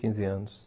quinze anos.